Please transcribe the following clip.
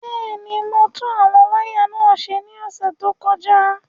Bẹ́ẹ̀ ni, mo tún àwọn wáyà náà ṣe ní ọ̀sẹ̀ tó kọjá.